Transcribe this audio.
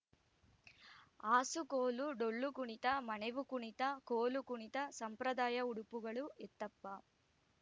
ಆಸುಕೋಲು ಡೊಳ್ಳು ಕುಣಿತ ಮಣೆವು ಕುಣಿತ ಕೋಲು ಕುಣಿತ ಸಂಪ್ರಾದಾಯ ಉಡುಪುಗಳು ಎತ್ತಪ್ಪ